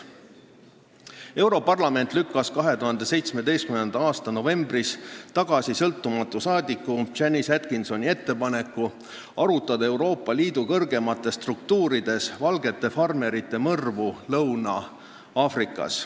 Europarlament lükkas 2017. aasta novembris tagasi sõltumatu parlamendiliikme Janice Atkinsoni ettepaneku arutada Euroopa Liidu kõrgemates struktuurides valgete farmerite mõrvu Lõuna-Aafrika Vabariigis.